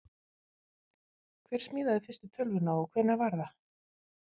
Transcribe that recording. hver smíðaði fyrstu tölvuna og hvenær var það